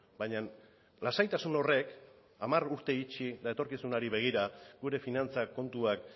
baina lasaitasun horrek hamar urte itxi eta etorkizunari begira gure finantzak kontuak